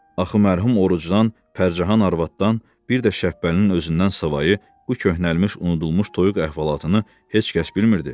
Axı mərhum Orucdan, Pərcahan arvaddan, bir də Şəbbəlinin özündən savayı bu köhnəlmiş, unudulmuş toyuq əhvalatını heç kəs bilmirdi.